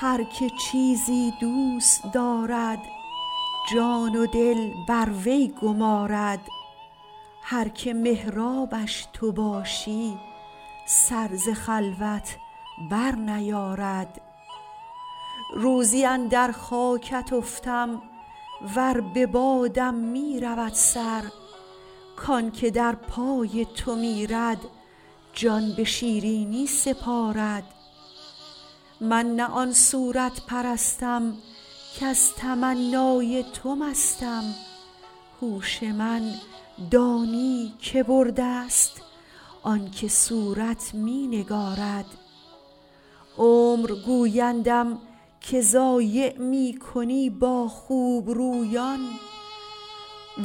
هر که چیزی دوست دارد جان و دل بر وی گمارد هر که محرابش تو باشی سر ز خلوت برنیارد روزی اندر خاکت افتم ور به بادم می رود سر کان که در پای تو میرد جان به شیرینی سپارد من نه آن صورت پرستم کز تمنای تو مستم هوش من دانی که برده ست آن که صورت می نگارد عمر گویندم که ضایع می کنی با خوبرویان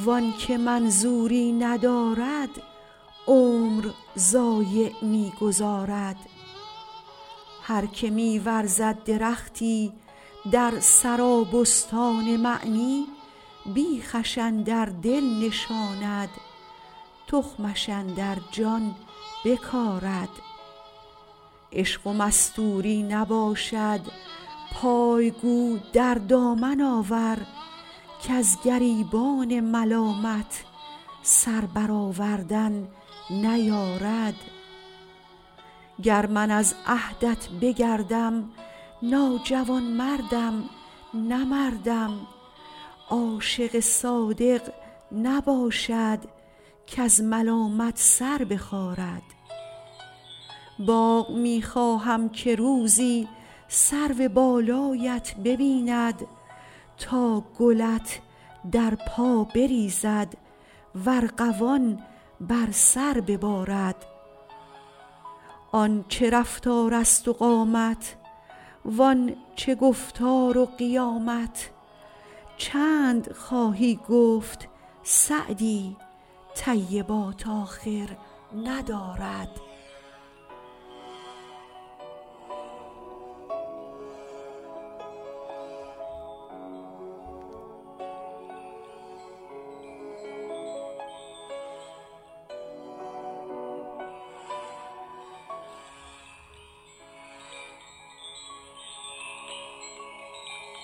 وان که منظوری ندارد عمر ضایع می گذارد هر که می ورزد درختی در سرابستان معنی بیخش اندر دل نشاند تخمش اندر جان بکارد عشق و مستوری نباشد پای گو در دامن آور کز گریبان ملامت سر برآوردن نیارد گر من از عهدت بگردم ناجوانمردم نه مردم عاشق صادق نباشد کز ملامت سر بخارد باغ می خواهم که روزی سرو بالایت ببیند تا گلت در پا بریزد و ارغوان بر سر ببارد آن چه رفتارست و قامت وان چه گفتار و قیامت چند خواهی گفت سعدی طیبات آخر ندارد